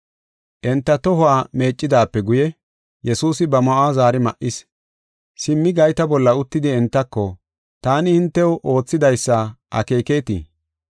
Enta tohuwa meeccidaape guye, Yesuusi ba ma7uwa zaari ma7is. Simmi gayta bolla uttidi entako, “Taani hintew oothidaysa akeeketii?